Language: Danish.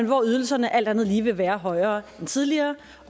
hvor ydelserne alt andet lige vil være højere end tidligere